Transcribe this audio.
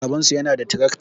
Babansu yana da tirakta